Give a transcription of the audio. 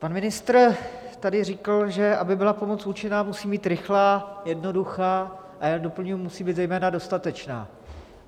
Pan ministr tady řekl, že aby byla pomoc účinná, musí být rychlá, jednoduchá, a já doplním, musí být zejména dostatečná.